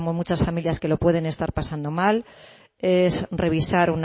muchas familias que lo pueden estar pasando mal es revisar